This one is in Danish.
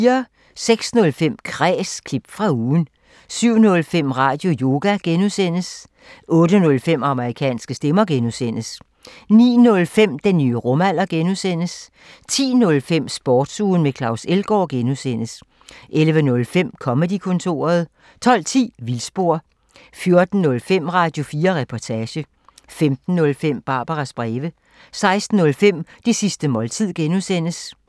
06:05: Kræs – klip fra ugen 07:05: Radioyoga (G) 08:05: Amerikanske stemmer (G) 09:05: Den nye rumalder (G) 10:05: Sportsugen med Claus Elgaard (G) 11:05: Comedy-kontoret 12:10: Vildspor 14:05: Radio4 Reportage 15:05: Barbaras breve 16:05: Det sidste måltid (G)